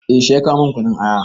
Eh shi ya kawo min kunun aya.